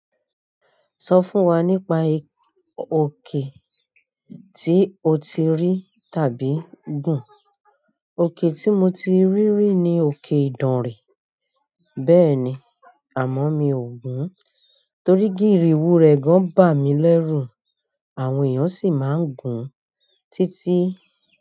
Sọ fún wa nípa oke ti o ti rí, tàbí gùn. Oke ti mo ti rí rí ni oke Idanre. Bẹ́ẹ̀ni, àmọ́ mi ò gùn torí gírìwù rẹ̀ gan bà mí lẹ́rù, àwọn èèyàn sì máa ń gùn títí.